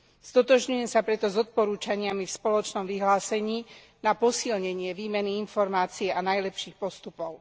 Stotožňujem sa preto s odporúčaniami v spoločnom vyhlásení na posilnenie výmeny informácií a najlepších postupov.